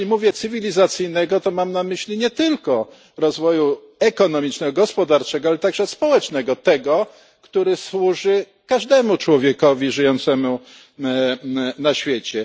Jeśli mówię cywilizacyjnego, to mam na myśli nie tylko rozwoju ekonomicznego, gospodarczego, ale także społecznego, tego, który służy każdemu człowiekowi żyjącemu na świecie.